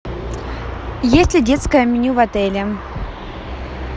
есть ли детское меню в отеле